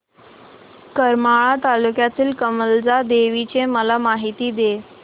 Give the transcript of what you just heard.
करमाळा तालुक्यातील कमलजा देवीची मला माहिती दे